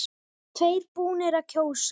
Tveir búnir að kjósa